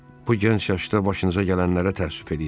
Bu gənc yaşda başınıza gələnlərə təəssüf eləyirəm.